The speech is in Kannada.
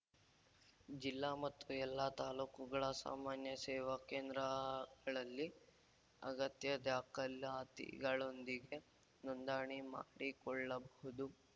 ಜಿಲ್ಲಾ ಮತ್ತು ಎಲ್ಲ ತಾಲೂಕುಗಳ ಸಾಮಾನ್ಯ ಸೇವಾ ಕೇಂದ್ರಾಗಳಲ್ಲಿ ಅಗತ್ಯ ದಾಖಲಾತಿಗಳೊಂದಿಗೆ ನೋಂದಣಿ ಮಾಡಿಕೊಳ್ಳಬಹುದು